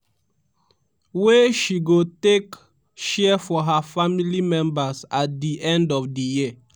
wey she go take share for her family members at di end of di year.